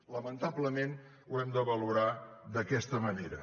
lamentablement ho hem de valorar d’aquesta manera